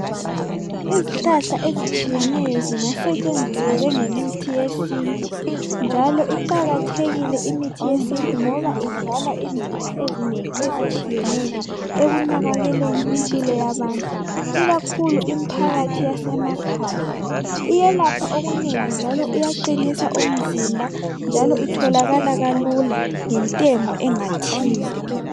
Izihlahla ezitshiyeneyo zingasetshenziswa njengemithi yesintu njalo iqakathekile imithi yesintu ngoba idlala indima ezinengi ezitshiyeneyo ekunakekeleni impilo yabantu ikakhulu imphakathi yasemakhaya. Iyelapha okunengi njalo iyaqanisa umzimba njalo itholakala lula ngentengo engathini.